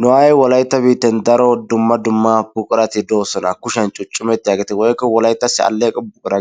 Nu aaye wolaytta biitten daro dumma dumma buquratti doosona kushiyan cuccumettiyagetti woykko wolayttassi aleeqqo buqura